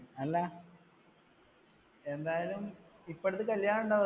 അല്ല, എന്തായാലും ഇപ്പ അടുത്ത് കല്യാണം ഉണ്ടാ